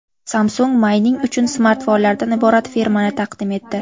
Samsung mayning uchun smartfonlardan iborat fermani taqdim etdi.